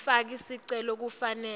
lomfaki sicelo kufanele